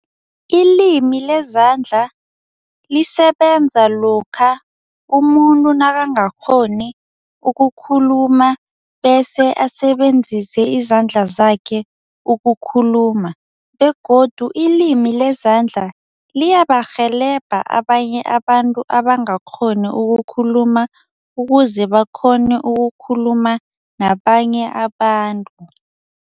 Ilimi lezandla lisebenza lokha umuntu nakangakghoni ukukhuluma bese asebenzise izandla zakhe ukukhuluma begodu ilimi lezandla liyabarhelebha abanye abantu abangakghoni ukukhuluma ukuze bakghone ukukhuluma nabanye abantu.